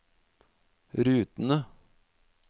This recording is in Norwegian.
rutene